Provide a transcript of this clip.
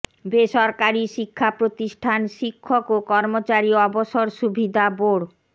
বেসরকারী শিক্ষা প্রতিষ্ঠান শিক্ষক ও কর্মচারী অবসর সুবিধা বোর্ড